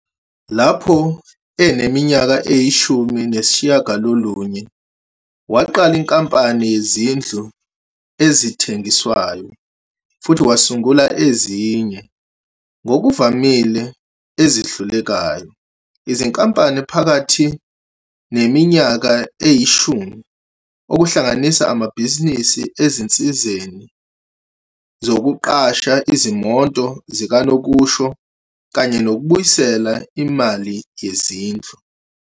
Lapho eneminyaka eyishumi nesishiyagalolunye, waqala inkampani yezindlu ezithengiswayo, futhi wasungula ezinye, ngokuvamile ezihlulekayo, izinkampani phakathi neminyaka eyishumi, okuhlanganisa amabhizinisi ezinsizeni zokuqasha izimoto zikanokusho kanye nokubuyisela imali yezindlu.